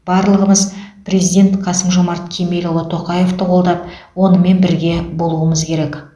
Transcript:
барлығымыз президент қасым жомарт кемелұлы тоқаевты қолдап онымен бірге болуымыз керек